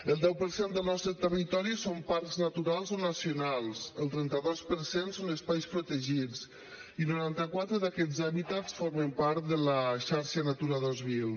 el deu per cent del nostre territori són parcs naturals o nacionals el trenta dos per cent són espais protegits i noranta quatre d’aquests hàbitats formen part de la xarxa natura dos mil